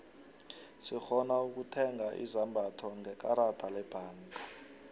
sirhona ukutheiga izombatho ngekarada lebhangeni